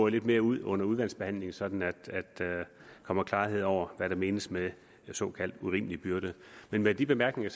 lidt mere ud under udvalgsbehandlingen sådan at der kommer klarhed over hvad der menes med en såkaldt urimelig byrde med de bemærkninger